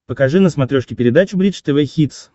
покажи на смотрешке передачу бридж тв хитс